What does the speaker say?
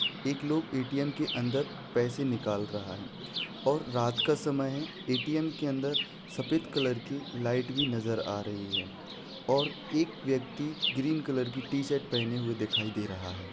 एक लोग ए.टी.एम के अंदर पैसे निकाल रहा है और रात का समय है ए.टी.एम के अंदर सफ़ेद कलर की लाइट भी नज़र आ रही है और एक व्यक्ति ग्रीन कलर की टीशर्ट पहने हुए दिखाई दे रहा है।